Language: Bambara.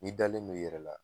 N'i dalen n'o i yɛrɛ la